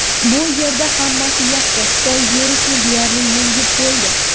Bu yerda hammasi yaxshi, Xitoy virusni deyarli yengib bo‘ldi.